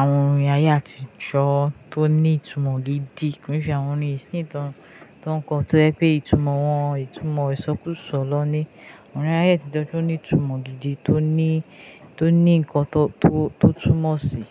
àwọn orin ayé àtijọ́ tó ní ìtumọ̀ gidi. Ko n ṣe àwọn orin ìsìn tó ń kọ, tó jẹ́ pé ìtumọ̀ wọn, ìtúmọ̀ isọ́kúsọ́ lọ ní. Orin ayé àtijọ́ tó ní ìtumọ̀ gidi, tó ní, tó ní ǹkan tó, tó túmọ̀ sí.